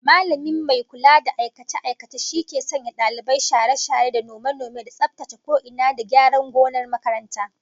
Mallamin mai kula da aikace-aikace shi ke sanya dalibai share-share da nome-nome da tsaftace ko ina, da gyara gonar makaranta